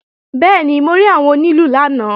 Bẹ́ẹ̀ni, mo rí àwọn onílù lánàá